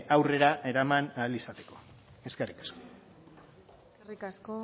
aurrera eraman ahal izateko eskerrik asko eskerrik asko